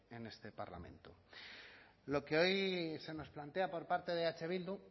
en este parlamento lo que hoy se nos plantea por parte de eh bildu